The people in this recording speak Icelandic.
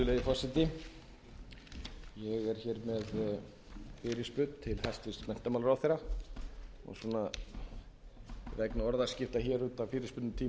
er hér með fyrirspurn til hæstvirts menntamálaráðherra en svona vegna orðaskipta hér út af fyrirspurnatíma við